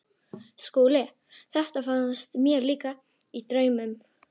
SKÚLI: Þetta fannst mér líka- í draumnum.